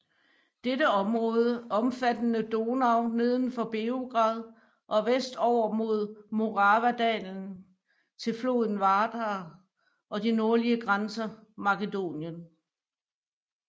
Dette område omfattede Donau neden for Beograd og vest over mod Moravadalen til floden Vardar og de nordlige grænser Makedonien